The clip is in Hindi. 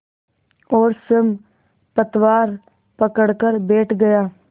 और स्वयं पतवार पकड़कर बैठ गया